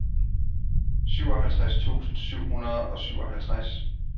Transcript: syvoghalvtreds tusind syv hundrede og syvoghalvtreds